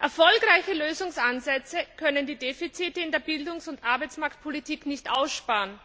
Erfolgreiche Lösungsansätze können die Defizite in der Bildungs und Arbeitsmarktpolitik nicht aussparen.